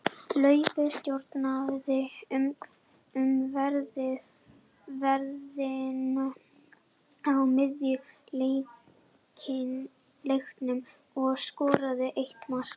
Laufey stjórnaði umferðinni á miðjunni í leiknum og skoraði eitt mark.